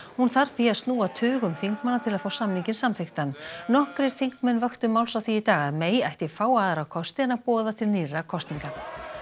hún þarf því að snúa tugum þingmanna til að fá samninginn samþykktan nokkrir þingmenn vöktu máls á því í dag að May ætti fáa aðra kosti en að boða til nýrra kosninga